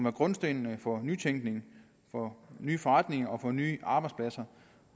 af grundstenene for nytænkning for nye forretninger og for nye arbejdspladser